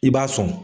I b'a sɔn